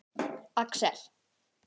Axel